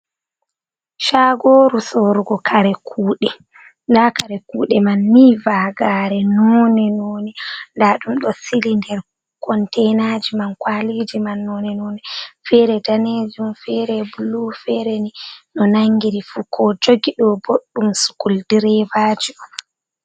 Caagooru soorugo kare kuuɗe. Nda kare kuuɗe man ni vaagaare nooni nooni. Nda ɗum ɗo sili nder konteenaaji man kwaliji man nooni feere daneejum, feere blue, feere ni no nanngiri fuu. Ko o jogi ɗo'o ɗum boo ɗum sukuldireebaji on.